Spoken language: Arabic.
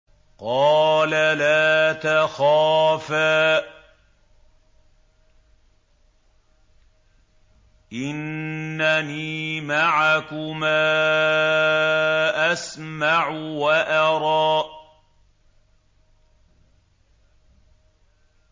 قَالَ لَا تَخَافَا ۖ إِنَّنِي مَعَكُمَا أَسْمَعُ وَأَرَىٰ